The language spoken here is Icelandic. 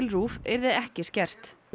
RÚV yrði ekki skert